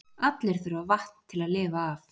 Allir þurfa vatn til að lifa af.